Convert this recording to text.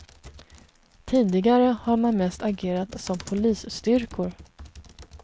Tidigare har man mest agerat som polisstyrkor.